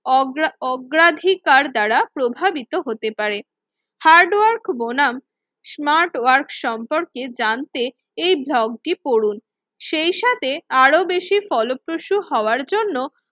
অগ্রা অগ্রাধিকার দ্বারা প্রভাবিত হতে পারে। হার্ডওয়ার্ক বনাম স্মার্ট ওয়ার্ক সম্পর্কে জানতে এই ব্লগটি পড়ান, সেইসাথে আরো বেশি ফলপ্রসু হওয়ার জন্য